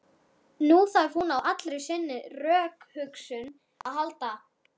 Nú þarf hún á allri sinni rökhugsun að halda.